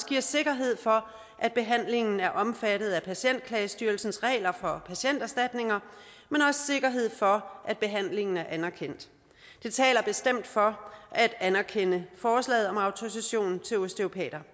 giver sikkerhed for at behandlingen er omfattet af patientklagestyrelsens regler for patienterstatninger men også sikkerhed for at behandlingen er anerkendt det taler bestemt for at anerkende forslaget om autorisation til osteopater